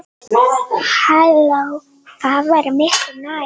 Það væri miklu nær.